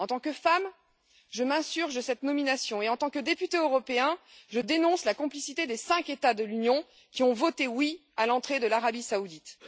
En tant que femme, je m'insurge contre cette nomination et en tant que députée européenne, je dénonce la complicité des cinq États de l'Union européenne qui ont voté oui à l'entrée de l'Arabie saoudite.